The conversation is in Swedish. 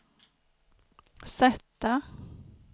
sätta